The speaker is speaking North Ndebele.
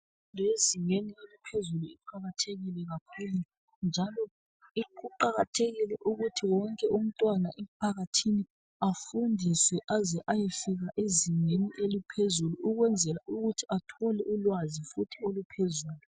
Imfundo yezingeni eliphezulu iqakathekile kakhulu njalo kuqakathekile ukuthi wonke umntwana emphakathini afundiswe aze ayefika ezingeni eliphezulu ukwenzela ukuthi athole ulwazi futhi oluphezulu.